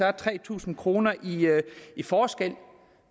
er tre tusind kroner i i forskel